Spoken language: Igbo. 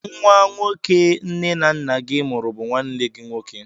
Nwa nwoke nne na nna gị mụrụ bụ nwanne gị nwoke.